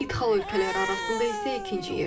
İdxal ölkələri arasında isə ikinci yerdədir.